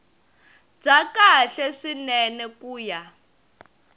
bya kahle swinene ku ya